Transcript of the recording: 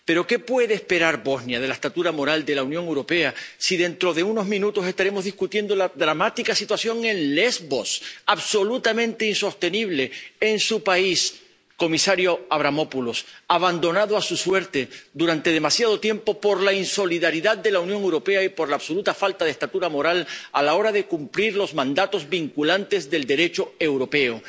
Pero ¿qué puede esperar Bosnia de la estatura moral de la Unión Europea, si dentro de unos minutos estaremos discutiendo la dramática situación en Lesbos, absolutamente insostenible, en su país, comisario Avramopoulos, abandonado a su suerte durante demasiado tiempo por la insolidaridad de la Unión Europea y por la absoluta falta de estatura moral a la hora de cumplir los mandatos vinculantes del Derecho europeo?